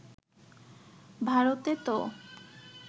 ভারতে তো